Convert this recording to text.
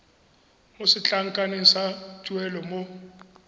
mo setlankaneng sa tuelo mo